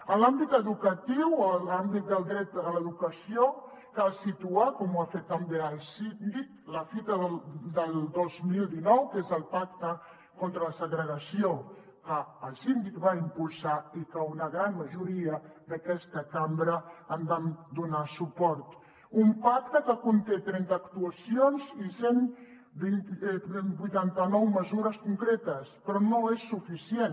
en l’àmbit educatiu en l’àmbit del dret a l’educació cal situar com ho ha fet també el síndic la fita del dos mil dinou que és el pacte contra la segregació que el síndic va impulsar i que una gran majoria d’aquesta cambra hi vam donar suport un pacte que conté trenta actuacions i cent i vuitanta nou mesures concretes però no és suficient